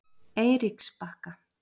Eiríksbakka